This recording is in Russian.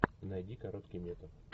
найди короткий метр